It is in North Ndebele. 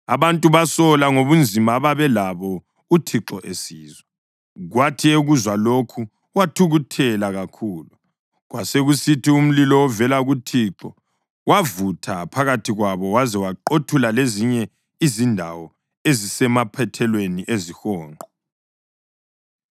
Abantu basola ngobunzima ababelabo uThixo esizwa, kwathi ekuzwa lokho wathukuthela kakhulu. Kwasekusithi umlilo ovela kuThixo wavutha phakathi kwabo waze waqothula lezinye izindawo ezisemaphethelweni ezihonqo.